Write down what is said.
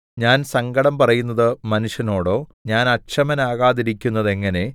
ഞാൻ സങ്കടം പറയുന്നത് മനുഷ്യനോടോ ഞാൻ അക്ഷമനാകാതിരിക്കുന്നതെങ്ങനെ